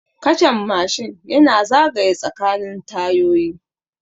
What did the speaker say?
Kachan Mashin yana zagaye tsakanin tayoyi